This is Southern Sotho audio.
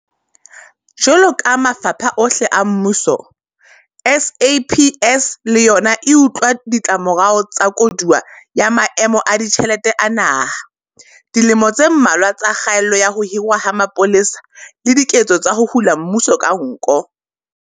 Jwalo ka mafapha ohle a mmuso, SAPS le yona e utlwa ditlamorao tsa koduwa ya maemo a ditjhelete a naha, dilemo tse mmalwa tsa kgaello ya ho hirwa ha mapolesa le diketso tsa ho hula mmuso ka nko.